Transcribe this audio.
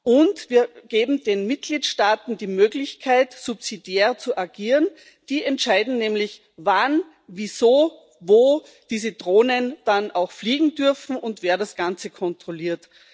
Und wir geben den Mitgliedstaaten die Möglichkeit, subsidiär zu agieren die entscheiden nämlich, wann, wieso, wo diese Drohnen dann auch fliegen dürfen und wer das Ganze kontrolliert.